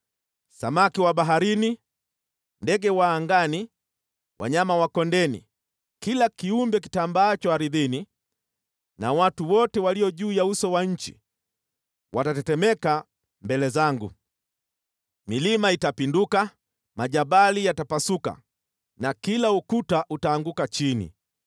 Samaki wa baharini, ndege wa angani, wanyama wa kondeni, kila kiumbe kitambaacho ardhini, na watu wote walio juu ya uso wa nchi watatetemeka mbele zangu. Milima itapinduka, majabali yatapasuka na kila ukuta utaanguka chini.